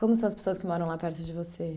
Como são as pessoas que moram lá perto de você?